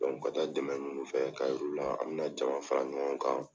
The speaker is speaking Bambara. ka taa dɛmɛ ninnu fɛ ka yir'u la an bɛna jama fara ɲɔgɔn kan.